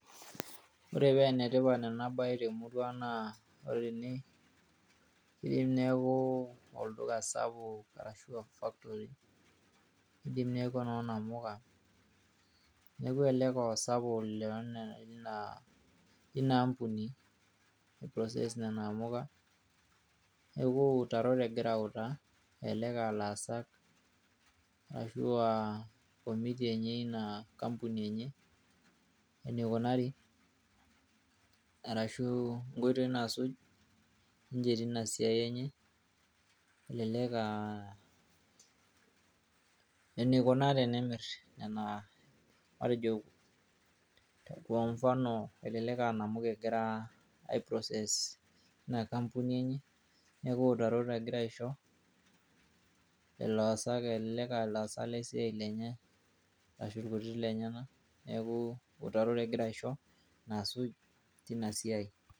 Ore paa enetipat ena baye temurua naa ore ene keyieu neeku olduka sapuk arashu aaCS[Factory]CS idim neeku enoo namuka neeku elelek aa osapuk lina CS[company process]CS nena amka neeku iutarot egira autaa elelek aa laasak arashu CS[committee]CS enye inaa ampuni enye eneikunari arashu inkoitoi naasuj ninche teina siai enye elelek aa eneikunaa tenemir nena , matejo kwa mfano elelek aa nkamuka egira ai CS[process]CS teina CS[Company]CS enye neeku iutarot egira aisho ilaasak elelek aa laasak le siai enye arashu irkutitik lenyenak neeku iwutarot egira aisho teina siai.